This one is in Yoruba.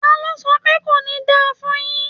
Ta ló sọ pé "kò ní da fún un yín"?